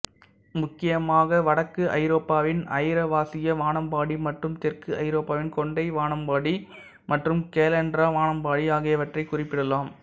முக்கியமாக வடக்கு ஐரோப்பாவின் ஐரோவாசிய வானம்பாடி மற்றும் தெற்கு ஐரோப்பாவின் கொண்டை வானம்பாடி மற்றும் கேலன்ட்ரா வானம்பாடி ஆகியவற்றைக் குறிப்பிடலாம்